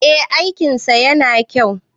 eh aikinsa yana kyau